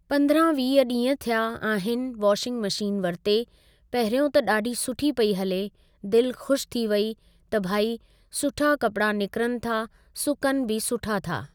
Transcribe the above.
पंद्रहां वीह ॾींह थिया आहिनि वॉशिंग मशीन वरिते, पहिरियों त ॾाढी सुठी पेई हले दिल ख़ुशि थी वेई त भई सुठा कपिड़ा निकिरनि था सुकनि बि सुठा था।